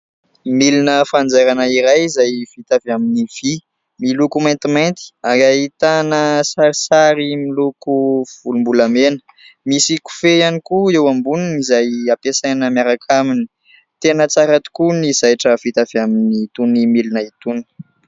Milina fanjairana iray izay vita avy amin'ny vy. Miloko maintimainty ary ahitana sarisary miloko volom-bolamena. Misy kofehy ihany koa eo amboniny izay ampiasaina miaraka aminy. Tena tsara tokoa ny zaitra vita avy amin'itony milina itony.